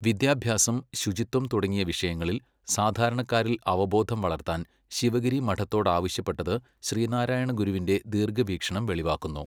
വിദ്യാഭ്യാസം, ശുചിത്വം തുടങ്ങിയ വിഷയങ്ങളിൽ സാധാരണക്കാരിൽ അവബോധം വളർത്താൻ ശിവഗിരി മഠത്തോടാവശ്യപ്പെട്ടതു ശ്രീനാരായണ ഗുരുവിന്റെ ദീർഘവീക്ഷണം വെളിവാക്കുന്നു.